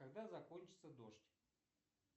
когда закончится дождь